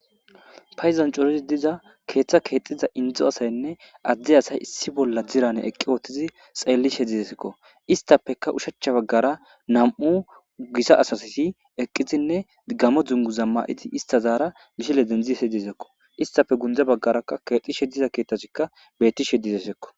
Payizan corizi diza keeththa keexxiza indzo asaynne addi asay issi bolla dirane eqqi oothtizi xeellishe dizesekko istapeka ushachcha baggara nam7u gisa asasti eqqizinne gamo dzungu zammayiti istazaara gishile dendziese dizekko istafe gundza baggarakka kexishe diza keeththasikka betti she dizesekko